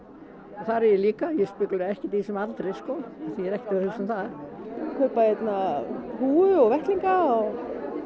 þar er ég líka ég ekkert í þessum aldri sko við erum að kaupa hérna húfu og vettlinga og